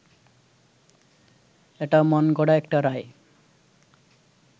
এটা মনগড়া একটা রায়